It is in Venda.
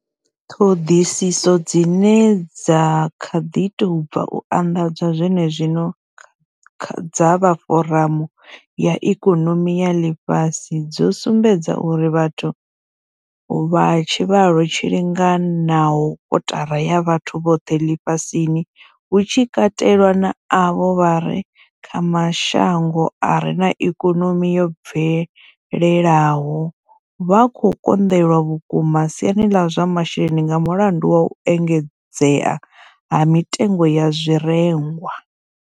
Ṱhoḓisiso dzine dza kha ḓi tou bva u anḓadzwa zwenezwino dza vha foramu ya ikonomi ya ḽifhasi dzo sumbedza uri vhathu vha tshivhalo tshi linganaho kotara ya vhathu vhoṱhe ḽifhasini, hu tshi katelwa na avho vha re kha mashango a re na ikonomi yo bvelelaho, vha khou konḓelwa vhukuma siani ḽa zwa masheleni nga mulandu wa u engedzea ha mitengo ya zwirengwa.